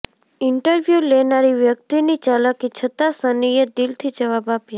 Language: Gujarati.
ઇન્ટરવ્યૂ લેનારી વ્યક્તિની ચાલાકી છતાં સનીએ દિલથી જવાબો આપ્યા